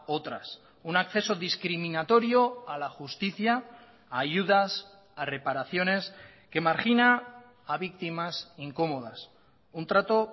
otras un acceso discriminatorio a la justicia a ayudas a reparaciones que margina a víctimas incómodas un trato